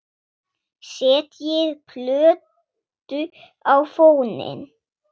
Setjið plötu á fóninn.